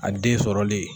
A den sɔrɔlen